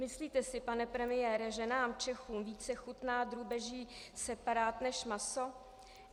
Myslíte si, pane premiére, že nám Čechům více chutná drůbeží separát než maso?